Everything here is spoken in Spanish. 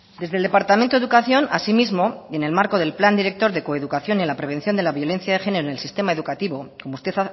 desde el departamento de educación asimismo y en el marco del plan director de coeducación de la prevención de la violencia de género en sistema educativo como usted